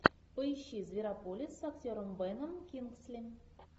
поищи зверополис с актером беном кингсли